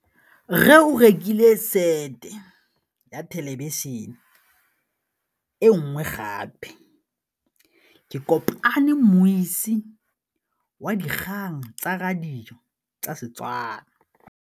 Rre o rekile sete ya thêlêbišênê e nngwe gape. Ke kopane mmuisi w dikgang tsa radio tsa Setswana.